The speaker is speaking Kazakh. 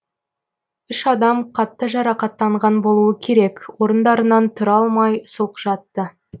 үш адам қатты жарақаттанған болуы керек орындарынан тұра алмай сұлқ жатты